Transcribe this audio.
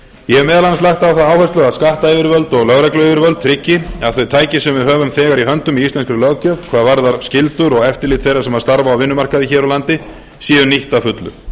ég hef meðal annars lagt á það áherslu að skattyfirvöld og lögregluyfirvöld tryggi að þau tæki sem við höfum þegar í höndum í íslenskri löggjöf hvað varðar skyldur og eftirlit þeirra sem starfa á vinnumarkaði hér á landi séu nýtt að fullu